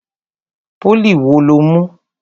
Pólì wo lo mú?